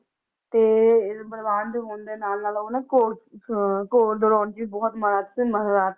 ਤੇ ਬਲਵਾਨ ਹੋਣ ਦੇ ਨਾਲ ਨਾਲ ਘੋੜ ਘੋੜ ਦੜੋਣ ਚ ਵੀ ਬਹੁਤ ਮਹਰਥ ਮਹਰਥ